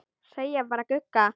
Segja bara Gugga.